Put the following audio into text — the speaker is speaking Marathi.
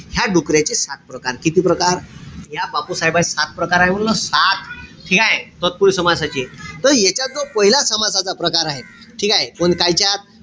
ह्या डुकऱ्याचे सात प्रकार. किती प्रकार? या बापूसाहेबाचे सात प्रकार आहे म्हणलं. ठीकेय? तत्पुरुषी समासाचे. त यांच्यात जो पाहिला समासाचा प्रकार आहे. ठीकेय? कोण कायच्यात?